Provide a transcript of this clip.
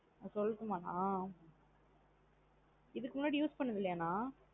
அஹ் சொல்லட்டு மா நா. இதுக்கு முன்னாடி use பண்ணது இல்லயா நா?